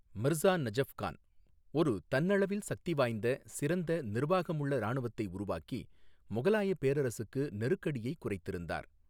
மிர்சா நஜஃப் கான் ஒரு தன்னளவில் சக்திவாய்ந்த, சிறந்த நிர்வாகமுள்ள ராணுவத்தை உருவாக்கி முகலாயப் பேரரசுக்கு நெருக்கடியைக் குறைத்திருந்தார்.